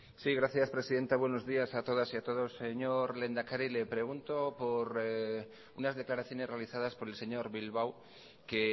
sí gracias presidenta buenos días a todas y a todos señor lehendakari le pregunto por unas declaraciones realizadas por el señor bilbao que